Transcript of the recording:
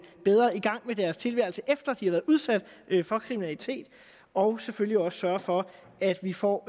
bedre i gang med deres tilværelse efter at de har været udsat for kriminalitet og selvfølgelig også sørge for at vi får